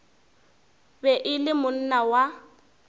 be e le monna wa